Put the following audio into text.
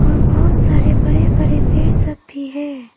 और बहौत सारे बड़े बड़े पेड़ सब भी है।